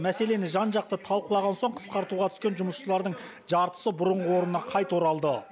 мәселені жан жақты талқылаған соң қысқартуға түскен жұмысшылардың жартысы бұрынғы орнына қайта оралды